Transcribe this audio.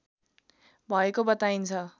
भएको बताइन्छ